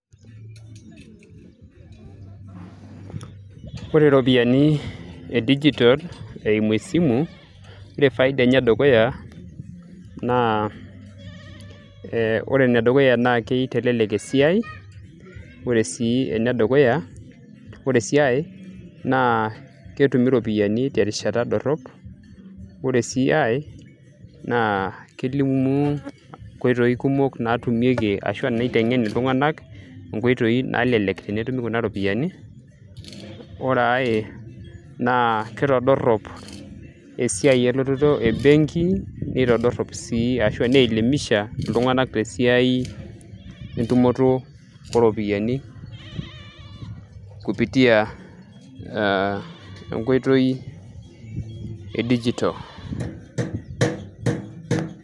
ore iropiyiani e digital eimu esimu, ore faida enye e dukuya naa aa ore enedukuya naa keitelelek esiai ore sii enedukuya, ore sii ay naa ketumi iropiyiani terishata dorrop ore sii ay naa kilimu inkoitoi kumok naatumieki ashua naiteng'en iltung'anak inkoitoi nalelek tenetumi kuna ropiyiani ore ay naa kitodorrop esiai elototo e benki, nitodorrp sii ashua nielimisha iltung'anak tesiai entumoto ooropiyiani kupitia ee enkoitoi e digital.